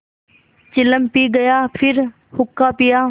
चिलम पी गाया फिर हुक्का पिया